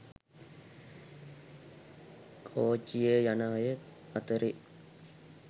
කෝච්චියෙ යන අය අතරෙ